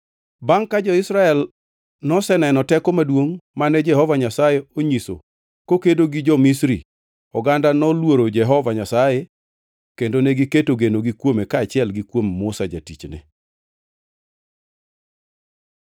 Bangʼ ka jo-Israel noseneno teko maduongʼ mane Jehova Nyasaye onyiso kokedo gi jo-Misri, oganda noluoro Jehova Nyasaye kendo negiketo genogi kuome kaachiel gi kuom Musa jatichne.